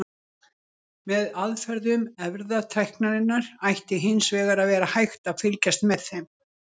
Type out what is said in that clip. Snorra kaupmanns sefur ennþá í fjörukambinum, liggur þar þunglamalegt, eins og ófleygur fugl.